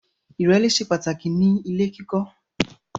Ìrẹ́lé ṣe pàtàkì ní ilè kíkọ